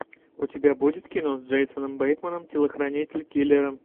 у тебя будет кино с джейсоном бейтманом телохранитель киллера